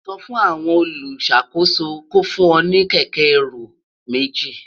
sò fún àwon oluṣakoso kó fún ẹ ní kéké ẹrù méjì